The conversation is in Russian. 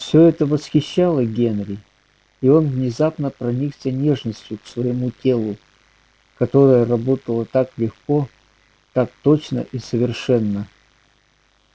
всё это восхищало генри и он внезапно проникся нежностью к своему телу которое работало так легко так точно и совершенно